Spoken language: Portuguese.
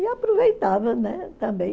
E aproveitava, né? Também